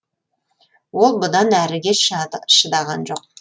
ол бұдан әріге шыдаған жоқ